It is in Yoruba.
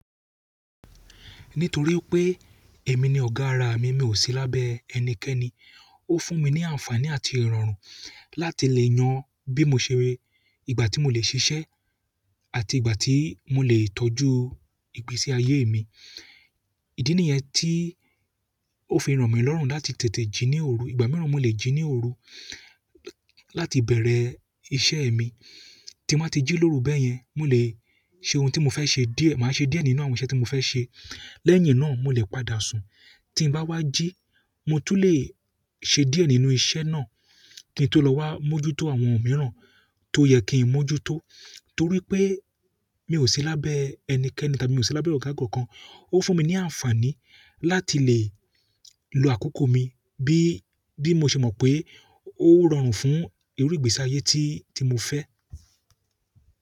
Nítorí pé èmi ni ọ̀gá ara mi, mi ò sí lábẹ́ ẹnikẹ́ni. Ó fún mi ní àǹfààní àti ìrọ̀rùn láti lè yan bí mo ṣe, ìgbà tí mo lè ṣiṣẹ́, àti ìgbà tí mo lè tọ́jú ìgbésí ayé mi. Ìdí nìyẹn tí ó fi ràn mí lọ́rùn láti tètè jí ní òru. Ìgbà mìíràn mo lè jí ní òru láti bẹ̀rẹ̀ iṣẹ́ mi. Tí n bá ti jí lóru bẹ́yẹn, mo lè ṣe ohun tí mo fẹ́ ṣe díẹ̀. Màá ṣe díẹ̀ nínú àwọn iṣẹ́ tí mo fẹ́ ṣe. Lẹ́yìn náà, mo lè padà sùn. Tí n bá wá jí, mo tún lè ṣe díẹ̀ nínú iṣẹ́ náà kí n tó lọ wá mójútó àwọn mìíràn tó yẹ kí n mójútó. Torí pé mi ò sí lábẹ́ ẹnikẹ́ni tàbí mi ò sí lábẹ́ ọ̀gá kan kan. Ó fún mi ní àǹfààní láti lè lo àkókò mi bí mo ṣe mọ̀ pé ó rọrùn fún irú ìgbésí ayé tí mo fẹ́.